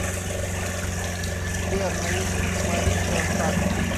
сбер на ютуб марика хакман